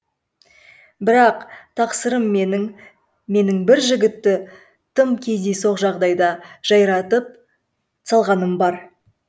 бірақ тақсырым менің менің бір жігітті тым кездейсоқ жағдайда жайратып салғаным бар